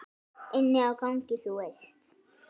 Inni á gangi, þú veist.